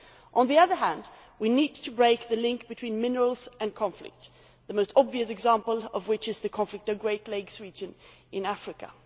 On the other hand, we need to break the link between minerals and conflict, the most obvious example of which is the conflict in the Great Lakes region in Africa.